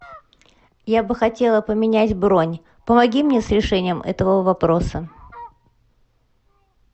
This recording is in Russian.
я бы хотела поменять бронь помоги мне с решением этого вопроса